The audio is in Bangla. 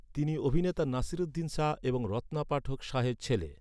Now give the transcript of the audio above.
তিনি অভিনেতা নাসিরুদ্দিন শাহ এবং রত্না পাঠক শাহের ছেলে।